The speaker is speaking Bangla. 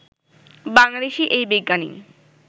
বাংলাদেশি এই বিজ্ঞানী